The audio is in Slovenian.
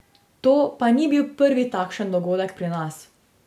To pa ni bil prvi takšen dogodek pri nas.